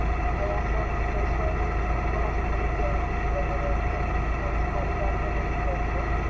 काही अस special कोणाची तरी जयंतीती वगैरे असते ना त्यावेळेस college organize करत.